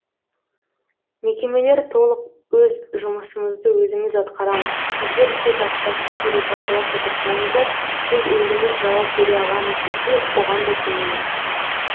мекемелер толық өз жұмысымызды өзіміз атқарамыз сіздер тек ақшасын төлеп бақылап отырсаңыздар біз өзіміз жауап бере аламыз десе оған да көнеміз